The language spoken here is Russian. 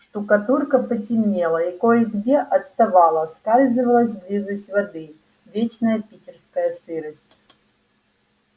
штукатурка потемнела и кое-где отставала сказывалась близость воды вечная питерская сырость